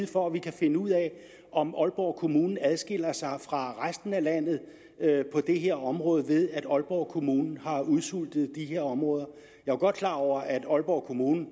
for at vi kan finde ud af om aalborg kommune adskiller sig fra resten af landet på det her område ved at aalborg kommune har udsultet de her områder jeg er godt klar over at aalborg kommune